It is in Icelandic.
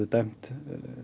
dæmt